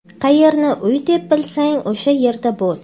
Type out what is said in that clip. Qayerni uy deb bilsang o‘sha yerda bo‘l.